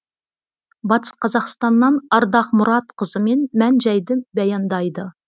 батыс қазақстаннан ардақ мұратқызымен мән жайды баяндайды